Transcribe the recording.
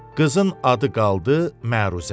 Qızın adı qaldı məruzə.